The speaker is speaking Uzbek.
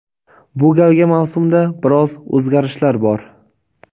Bu galgi mavsumda biroz o‘zgarishlar bor.